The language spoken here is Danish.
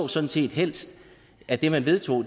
sådan set helst at det man vedtager